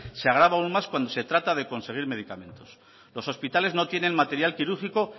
se agrava aún más cuando se trata de conseguir medicamentos los hospitales no tienen material quirúrgico